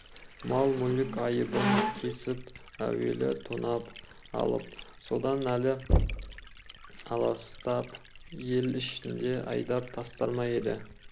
мал-мүлік айыбын кесіп әуелі тонап алып содан әрі аластап ел ішінен айдап тастар ма еді